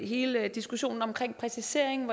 hele diskussionen omkring præciseringen